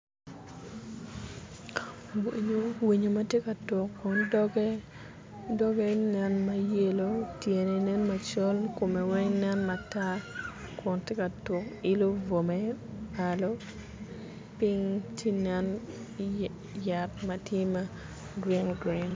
Winyo matye ka tuko doge doge nen mayellow tyene nen macol kome weng nen matar kun tye ka tuk ilo bwome malo ping tye nen yat matye ma green green.